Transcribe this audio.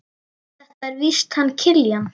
Þetta er víst hann Kiljan.